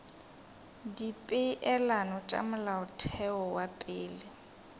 dipeelano tša molaotheo wa pele